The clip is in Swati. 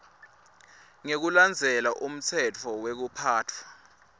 ngekulandzela umtsetfo wekuphatfwa